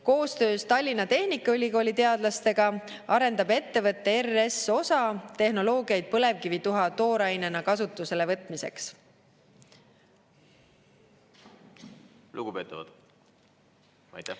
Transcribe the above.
Koostöös Tallinna Tehnikaülikooli teadlastega arendab ettevõte RS-OSA tehnoloogiaid põlevkivituha toorainena kasutusele võtmiseks.